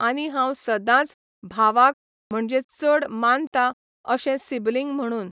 आनी हांव सदांच भावाक म्हणजे चड मानता अशे सिबलींग म्हणून.